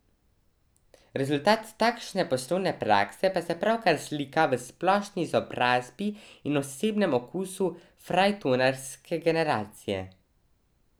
Rezultat takšne poslovne prakse pa se pravkar slika v splošni izobrazbi in osebnem okusu frajtonarske generacije.